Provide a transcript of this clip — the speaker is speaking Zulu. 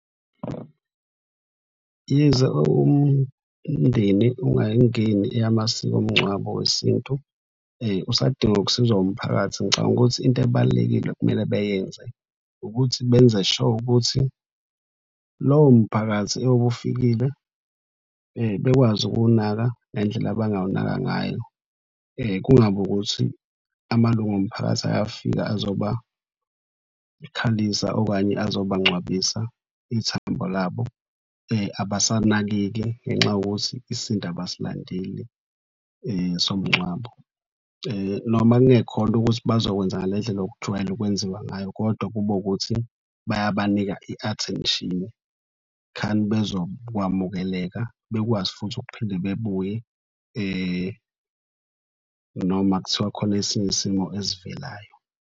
Yize umndeni ungayingeni eyamasiko omngcwabo wesintu, usadinga ukusizwa umphakathi ngicabanga ukuthi into ebalulekile okumele bayenze ukuthi benze sure ukuthi lowo mphakathi oyobe ufikile bekwazi ukuwunaka ngendlela abangawunaka ngayo. Kungabi ukuthi amalunga omphakathi ayafika, azobakhalisa okanye azobangcwabisa ithambo labo abasanakeki ngenxa yokuthi isintu abasilandeli somngcwabo. Noma kungekhona ukuthi bazokwenza ngale ndlela okujwayele ukwenziwa ngayo kodwa kube ukuthi bayabanika i-attention khani bezokwamukeleka bekwazi futhi ukuphinde bebuye noma kuthiwa khona esinye isimo esivelayo.